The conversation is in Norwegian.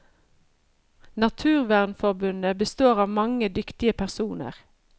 Naturvernforbundet består av mange dyktige personer.